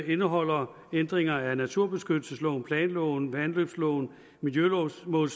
indeholder ændringer af naturbeskyttelsesloven planloven vandløbsloven miljømålsloven